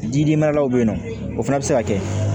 Jidimalaw bɛ yen nɔ o fana bɛ se ka kɛ